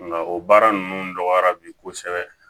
Nka o baara ninnu dɔgɔyara bi kosɛbɛ